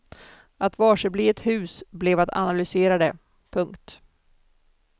Att varsebli ett hus blev att analysera det. punkt